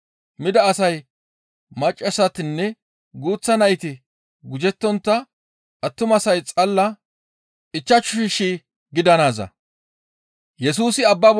Mida asay maccassatinne guuththa nayti gujettontta attumasay xalla ichchashu shii gidanaaza.